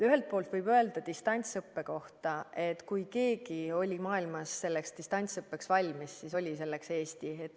Ühelt poolt võib öelda distantsõppe kohta, et kui keegi oli maailmas distantsõppeks valmis, siis oli selleks Eesti.